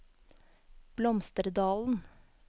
Blomsterdalen